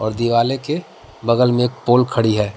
और दीवालें के बगल में एक पोल खड़ी है।